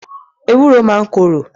Ewúro máa ń korò.